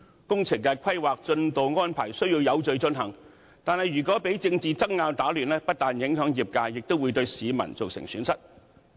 工程的規劃、進度安排需要有序進行，但如果被政治爭拗打亂，不但影響業界，也會對市民造成損失。